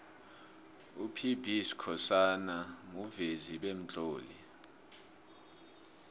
up b skhosana muvezi bemtloli